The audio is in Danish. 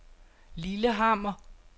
Lillehammer